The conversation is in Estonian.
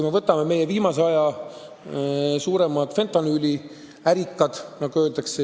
Võtame meie viimase aja suuremad fentanüüliärikad, nagu öeldakse.